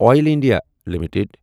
oil India limited